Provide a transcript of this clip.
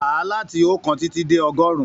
Káà láti ookan titi dé ọgọrun!